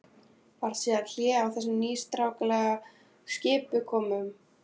Varð síðan hlé á þessum nýstárlegu skipakomum.